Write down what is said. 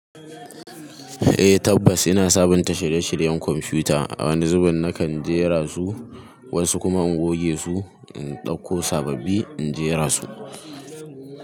Eh tabbas ina sabunta shirye-shiryen kwamfuta. A wani zubin nakan jera su, wasu kuma in goge su in dauko sababbi in jera su.